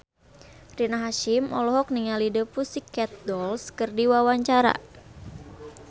Rina Hasyim olohok ningali The Pussycat Dolls keur diwawancara